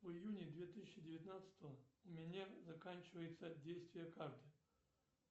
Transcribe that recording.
в июне две тысячи девятнадцатого у меня заканчивается действие карты